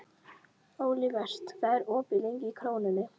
Olivert, hvað er opið lengi í Krónunni?